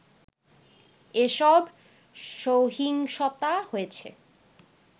এসব সহিংসতা হয়েছে